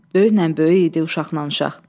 Böyüknən böyük idi, uşaqlanan uşaq.